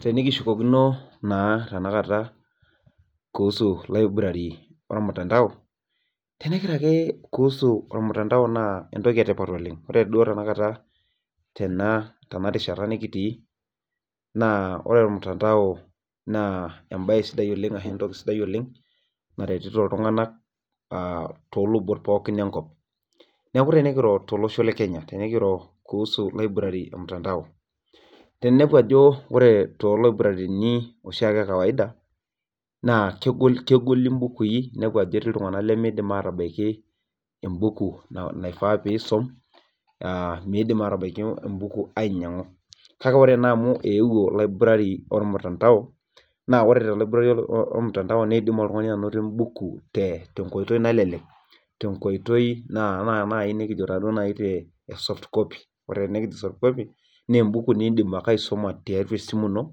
Tenikishukokino naa library olmutandao kuhusu olmutandao naa entoki emanaa oleng, tenarishata nikitii, ore olmutandao naa entoki sidai oleng naretiti iltunganak too ilubot enkop, neeku tenikiro tolosho lekenya kuhusu library emutandao ore ilaburarini ekawaida naa kegol ibukui kake idol naa ajo eyeuo ena olmutandao nalelek te soft copy naa ebuku nidim ake aibunga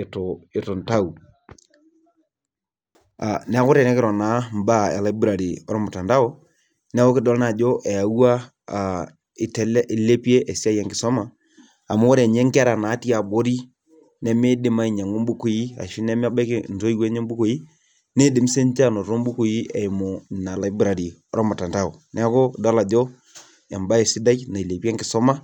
etu intau neeku tikiro naa ibaa elibrary neeku kidol naa ajo ilepie esiai enkisuma ore ninye inkera nimidim ainyangu intoiwuo enye naa kidim ake aisuma nena neeku idol ajo ebaye sidai nailepie enkisuma.